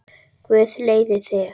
Guð leiði þig.